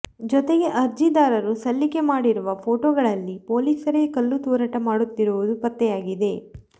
ಜೊತೆಗೆ ಅರ್ಜಿದಾರರು ಸಲ್ಲಿಕೆ ಮಾಡಿರುವ ಫೋಟೋಗಳಲ್ಲಿ ಪೊಲೀಸರೇ ಕಲ್ಲು ತೂರಾಟ ಮಾಡುತ್ತಿರುವುದು ಪತ್ತೆಯಾಗಿದೆ